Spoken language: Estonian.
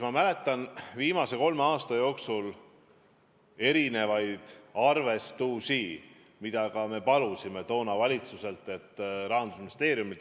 Ma mäletan viimase kolme aasta jooksul tehtud erinevaid arvestusi, mida me palusime Rahandusministeeriumilt.